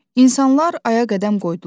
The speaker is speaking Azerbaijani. İnsanlar aya qədəm qoydular.